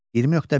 20.5.